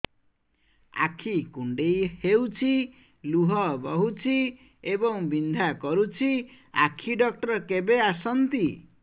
ଆଖି କୁଣ୍ଡେଇ ହେଉଛି ଲୁହ ବହୁଛି ଏବଂ ବିନ୍ଧା କରୁଛି ଆଖି ଡକ୍ଟର କେବେ ଆସନ୍ତି